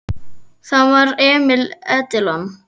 Það var Emil Edilon.